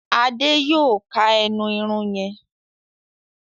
Ade yóò ká ẹnu Irun yén.